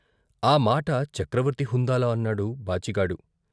ఆ మాట చక్రవర్తి హుందాలో అన్నాడు బాచిగాడు.